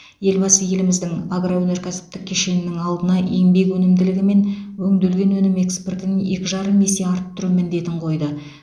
елбасы еліміздің агроөнеркәсіптік кешенінің алдына еңбек өнімділігі мен өңделген өнім экспортын екі жарым есе арттыру міндетін қойды